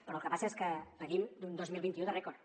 però el que passa és que venim d’un dos mil vint u de rècord